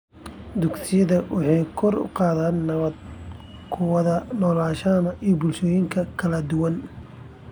Dugsiyada waxay kor u qaadaan nabad ku wada noolaanshaha bulshooyinka kala duwan.